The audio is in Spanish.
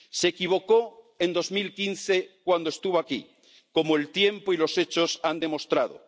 Se equivocó en 2015 cuando estuvo aquí, como el tiempo y los hechos han demostrado.